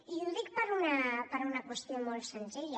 i ho dic per una qüestió molt senzilla